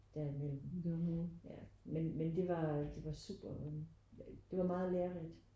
Derimellem ja men men det var det var super det var meget lærerigt